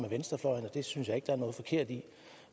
venstrefløjen og det synes jeg ikke der er noget forkert i